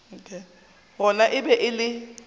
gona e be e le